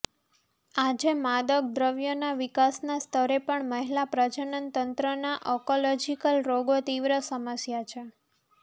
આજે માદક દ્રવ્યના વિકાસના સ્તરે પણ મહિલા પ્રજનન તંત્રના ઑંકોલોજીકલ રોગો તીવ્ર સમસ્યા છે